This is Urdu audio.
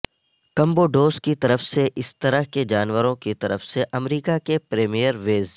کمبوڈوس کی طرف سے اس طرح کے جانوروں کی طرف سے امریکہ کے پریمیئر ویز